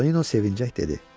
Tonino sevinclə dedi.